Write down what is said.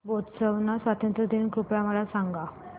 Botswana स्वातंत्र्य दिन कृपया मला सांगा